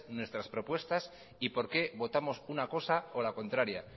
nuestras propuestas y por qué votamos una cosa o la contraria